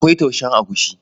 Akwai taushen agushi.